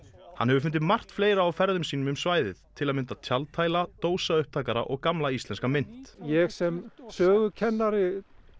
hann hefur fundið margt fleira á ferðum sínum um svæðið til að mynda tjaldhæla og gamla íslenska mynt ég sem sögukennari